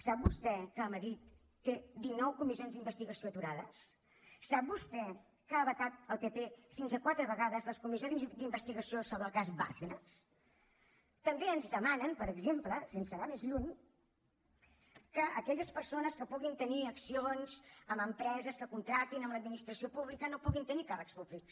sap vostè que madrid té dinou comissions d’investigació aturades sap vostè que ha vetat el pp fins a quatre vegades les comissions d’investigació sobre el cas bárcenas també ens demanen per exemple sense anar més lluny que aquelles persones que puguin tenir accions en empreses que contractin amb l’administració pública no puguin tenir càrrecs públics